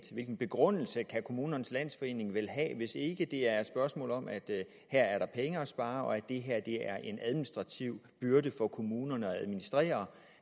hvilken begrundelse kan kommunernes landsforening vel have hvis ikke det er et spørgsmål om at her er der penge at spare og at det her er en administrativ byrde for kommunerne